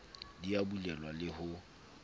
di a bulelwa le ho